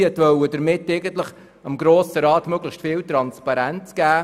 Sie wollte damit dem Grossen Rat möglichst viel Transparenz geben.